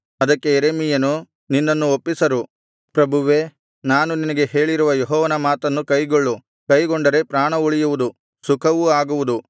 ಅದಕ್ಕೆ ಯೆರೆಮೀಯನು ನಿನ್ನನ್ನು ಒಪ್ಪಿಸರು ಪ್ರಭುವೇ ನಾನು ನಿನಗೆ ಹೇಳಿರುವ ಯೆಹೋವನ ಮಾತನ್ನು ಕೈಗೊಳ್ಳು ಕೈಗೊಂಡರೆ ಪ್ರಾಣ ಉಳಿಯುವುದು ಸುಖವೂ ಆಗುವುದು